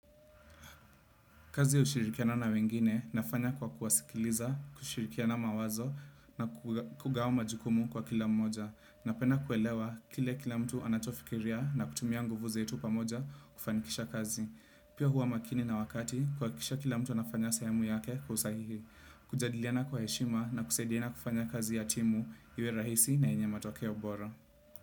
Kazi ushirikiana na wengine nafanya kwa kuwasikiliza, kushirikiana mawazo na kugawa majikumu kwa kila mmoja. Napena kuelewa kile kila mtu anachofikiria na kutumia nguvu zetu pamoja kufanikisha kazi. Pia huwa makini na wakati kuhakikisha kila mtu anafanya sehemu yake kusahihi. Kujadiliana kwa heshima na kusaidiana kufanya kazi ya timu iwe rahisi na yenye matokeo bora.